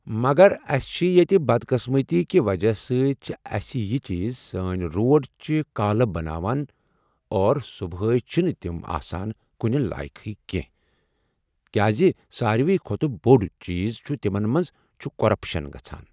مَگر اَسہِ چھِ ییٚتہِ بدقٕسمَتی کہِ وجہہ سۭتۍ چھِ اَسہِ یہِ چیٖز سٲنۍ روڑ چھِ کالہٕ بَناوان اور صبُحٲے چھِ نہٕ تِم آسان کُنہِ لایَقٕے کیٚنٛہہ کیازِ ساروی کھۄتہٕ بوٚڑ چیٖز چھُ تِمن منٛز چھُ کٔرپَشن گژھان.